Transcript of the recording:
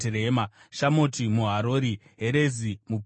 Shamoti muHarori, Herezi muPeroni,